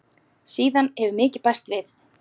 Síðan hefur mikið bæst við.